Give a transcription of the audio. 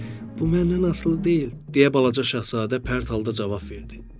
Bu məndən asılı deyil, deyə balaca Şahzadə pərt halda cavab verdi.